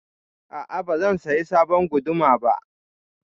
A'a, ba zan saya sabon guduma ba.